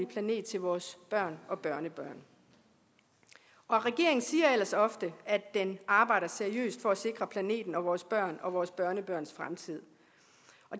planet til vores børn og børnebørn og regeringen siger ellers ofte at den arbejder seriøst for at sikre planeten og vores børn og børnebørns fremtid